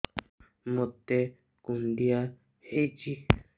ମୋତେ କୁଣ୍ଡିଆ ହେଇଚି